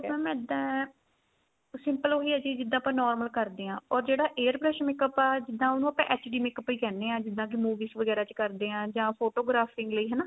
mam ਇੱਦਾਂ simple ਹੋ ਗਈ ਇਹ ਚੀਜ਼ ਜਿੱਦਾਂ ਆਪਾਂ normal ਕਰਦੇ ਆ or ਜਿਹੜਾ air brush makeup ਆ ਜਿੱਦਾਂ ਉਹਨੂੰ ਆਪਾਂ HD makeup ਵੀ ਕਹਿਣੇ ਆ ਜਿੱਦਾਂ ਕੀ movies ਵਗੈਰਾ ਕਰਦੇ ਆ ਜਾਂ photographing ਲਈ ਹਨਾ